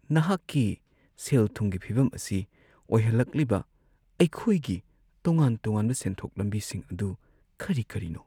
ꯅꯍꯥꯛꯀꯤ ꯁꯦꯜ-ꯊꯨꯝꯒꯤ ꯐꯤꯚꯝ ꯑꯁꯤ ꯑꯣꯏꯍꯜꯂꯛꯂꯤꯕ ꯑꯩꯈꯣꯏꯒꯤ ꯇꯣꯉꯥꯟ-ꯇꯣꯉꯥꯟꯕ ꯁꯦꯟꯊꯣꯛ ꯂꯝꯕꯤꯁꯤꯡ ꯑꯗꯨ ꯀꯔꯤ ꯀꯔꯤꯅꯣ ?